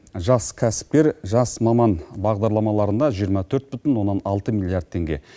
жас кәсіпкер жас маман бағдарламаларына жиырма төрт бүтін оннан алты миллиард теңге